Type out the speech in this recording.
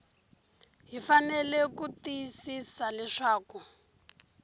hi fanele ku tiyisisa leswaku